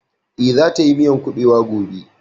Eh, za ta yi miyan kuɓewa gobe